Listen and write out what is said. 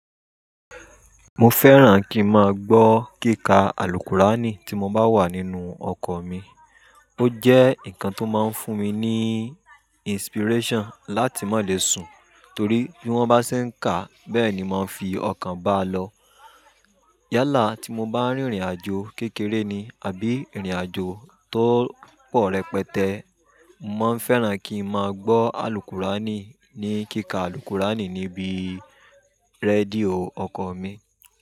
Mo fẹ́ràn kí n máa gbọ́ kíka Al-Qur'ani tí mo bá wà nínú ọkọ̀ mi. Ó jẹ́ nǹkan tó máa ń fún mi ní inspiration láti má le sùn, torí bí wọ́n bá ṣe ń kà, bẹ́ẹ̀ ni màá fi ọkàn bá a lọ. Yálà tí mo bá rìnrìnàjò kékeré ni àbí rìnrìnàjò tó pọ̀ rẹpẹtẹ, mo ma fẹ́ràn kí n máa gbọ́ Al-Qur'ani ní kíka Al-Qur'ani níbi rédíò ọkọ̀ mi.